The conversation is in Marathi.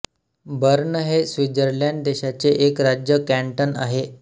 बर्न हे स्वित्झर्लंड देशाचे एक राज्य कॅंटन आहे